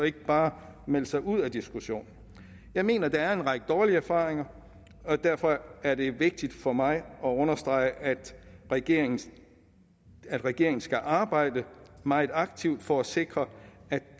ikke bare melder sig ud af diskussionen jeg mener at der er en række dårlige erfaringer og derfor er det vigtigt for mig at understrege at regeringen at regeringen skal arbejde meget aktivt for at sikre